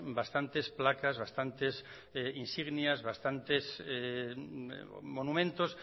bastantes placas bastantes insignias bastantes monumentos